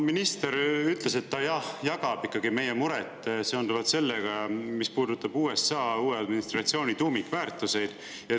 Minister ütles, et ta jagab meie muret seonduvalt sellega, mis puudutab USA uue administratsiooni tuumikväärtusi.